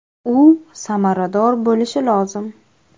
U samarador bo‘lishi lozim.